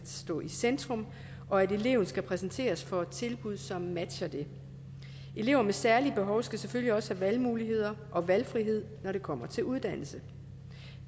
stå i centrum og at eleven skal præsenteres for et tilbud som matcher det elever med særlige behov skal selvfølgelig også have valgmuligheder og valgfrihed når det kommer til uddannelse